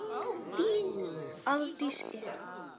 Þín Aldís Eva.